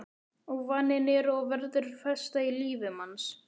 Og vaninn er og verður festa í lífi manns.